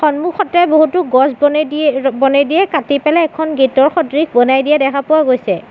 সন্মুখতে বহুতো গছ বনেদি ৰ-বনেদিয়ে কাটি পেলাই এখন গেট ৰ সদৃশ বনাই দিয়া দেখা পোৱা গৈছে।